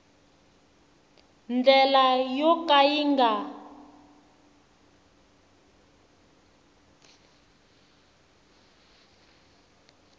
ndlela yo ka yi nga